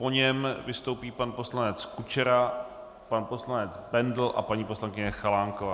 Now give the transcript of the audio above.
Po něm vystoupí pan poslanec Kučera, pan poslanec Bendl a paní poslankyně Chalánková.